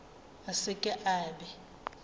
a se ke a be